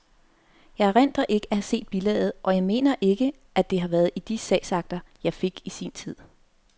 Jeg erindrer ikke at have set bilaget, og jeg mener ikke, at det har været i de sagsakter, jeg fik i sin tid.